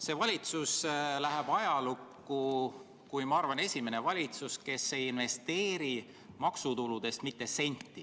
See valitsus läheb ajalukku, ma arvan, kui esimene valitsus, kes ei investeeri maksutuludest mitte sentigi.